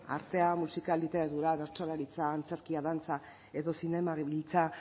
artea musika literatura bertsolaritza antzerkia dantza edo zinemagintza